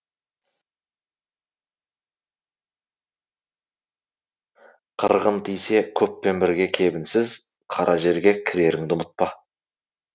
қырғын тисе көппен бірге кебінсіз қара жерге кіреріңді ұмытпа